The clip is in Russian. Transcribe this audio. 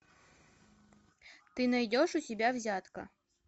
ты найдешь у себя взятка